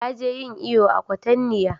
Ta je yin iyo a kwatanniya